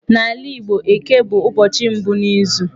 N'ala Igbo, Eke bụ ụbọchị mbụ n'izu.